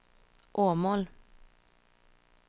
Åmål